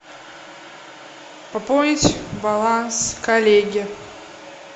пополнить баланс коллеге